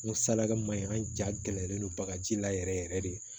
N ko salake ma ɲi an jalen don bagaji la yɛrɛ yɛrɛ yɛrɛ de